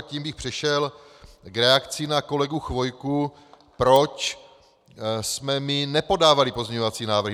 A tím bych přešel k reakci na kolegu Chvojku, proč jsme my nepodávali pozměňovací návrhy.